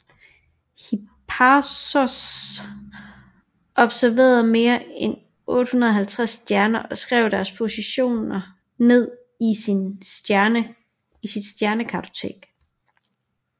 Hipparchos observerede mere end 850 stjerner og skrev deres positioner ned i sit Stjernekatalog